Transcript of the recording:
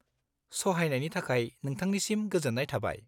-सहायनायनि थाखाय नोंथांनिसिम गोजोन्नाय थाबाय।